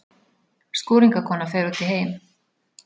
Skúringakona fer út í heim!